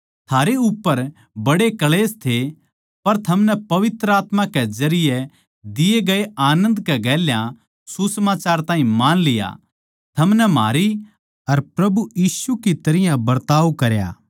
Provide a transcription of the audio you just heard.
थारे उप्पर बड्डे क्ळेश थे पर थमनै पवित्र आत्मा के जरिये दिए गये आनन्द कै गेल्या सुसमाचार ताहीं मान लिया थमनै म्हारी अर प्रभु यीशु की तरियां बरताव कराया